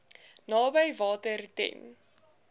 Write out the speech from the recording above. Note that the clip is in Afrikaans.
naby water ten